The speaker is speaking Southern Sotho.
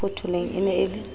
mafotholeng e ne e le